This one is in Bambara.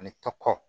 Ani ka kɔkɔ